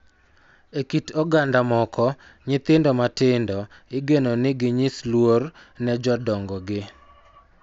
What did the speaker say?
E kit oganda moko, nyithindo matindo igeno ni ginyis luor ne jodongogi,